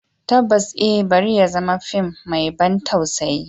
Tabbas eh, bari ya zama fim mai ban tausayi.